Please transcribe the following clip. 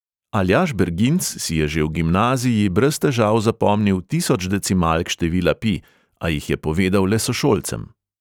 Aljaž berginc si je že v gimnaziji brez težav zapomnil tisoč decimalk števila pi, a jih je povedal le sošolcem.